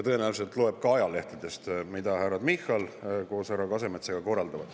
Tõenäoliselt temagi loeb ajalehtedest, mida härra Michal koos härra Kasemetsaga korraldab.